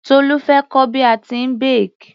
Tolu fẹ́ kọ́ bí a tíì bake.